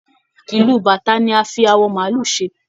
Ìlù bàtá ni a fi àwọ maálù ṣe.